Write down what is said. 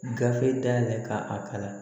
Gafe dayɛlɛ ka a kalan